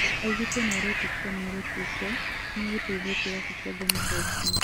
Augĩte nĩaretĩkia mwerekeria ũcio niegũteithia kĩrabu kĩu kĩa Jomoko Fc